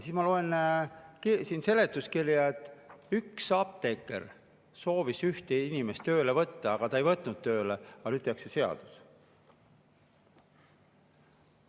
Siis ma loen seletuskirjast, et üks apteeker soovis ühte inimest tööle võtta, ta ei võtnud tööle, aga nüüd tehakse seaduse.